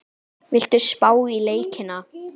Viltu spá í leikina?